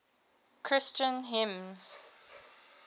christian hymns